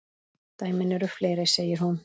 Dæmin eru fleiri, segir hún.